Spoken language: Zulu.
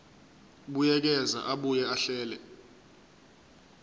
buyekeza abuye ahlele